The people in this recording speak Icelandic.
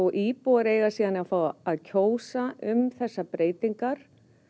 íbúar eiga síðan að fá að kjósa um þessar breytingar